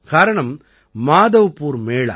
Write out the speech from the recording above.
காரணம் மாதவ்பூர் மேளா